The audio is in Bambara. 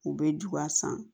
U bɛ juguya san